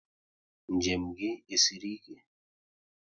Njem gị e siri ike?